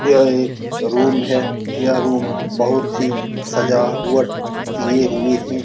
यह एक रूम है यह रूम बहुत ही सजावट किये हुए हैं ।